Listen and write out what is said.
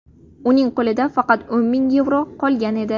Uning qo‘lida faqat o‘n ming yevro qolgan edi.